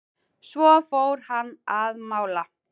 Svo fór hann að mála.